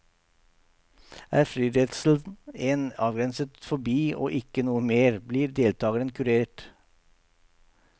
Er flyredselen en avgrenset fobi og ikke noe mer, blir deltageren kurert.